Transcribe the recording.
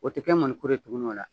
O te kɛ mɔnikuru ye tuguni o la